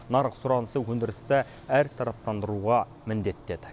нарық сұранысы өндірісті әртараптандыруға міндеттеді